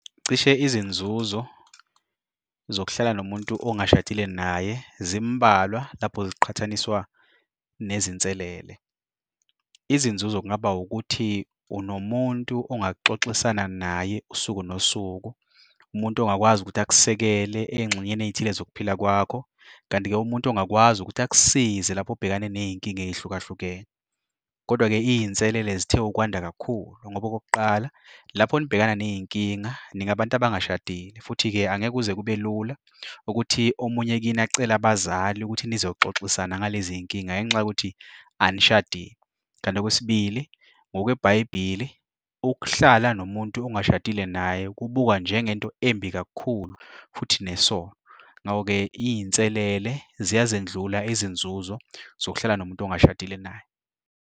Cishe izinzuzo zokuhlala nomuntu ongashadile naye zimbalwa lapho ziqhathaniswa nezinselele. Izinzuzo kungaba ukuthi unomuntu ongaxoxisana naye usuku nosuku, umuntu ongakwazi ukuthi akusukele ey'ngxenyeni ey'thile zokuphila kwakho kanti-ke umuntu ongakwazi ukuthi akusize lapho ubhekane ney'nkinga ey'hlukahlukene. Kodwa-ke, iy'nselele zithe ukwanda kakhulu ngoba okokuqala lapho nibhekana ney'nkinga ningabantu abangashadile, futhi-ke angeke kuze kube lula ukuthi omunye kini acele abazali ukuthi nizoxoxisana ngalezi y'nkinga ngenxa yokuthi anishadile. Kanti okwesibili, ngokweBhayibhili, ukuhlala nomuntu ungashadile naye kubukwa njengento embi kakhulu futhi nesono. Ngako-ke, iy'nselele ziyazendlula izinzuzo zokuhlala nomuntu ongashadile naye.